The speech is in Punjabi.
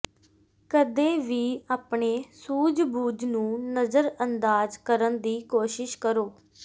ਕਦੇ ਵੀ ਆਪਣੇ ਸੂਝਬੂਝ ਨੂੰ ਨਜ਼ਰਅੰਦਾਜ਼ ਕਰਨ ਦੀ ਕੋਸ਼ਿਸ਼ ਕਰੋ